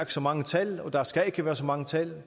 så mange tal og der skal ikke være så mange tal